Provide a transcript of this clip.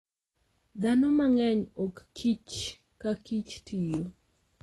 Dhano mang'eny ok kichkakakich tiyo.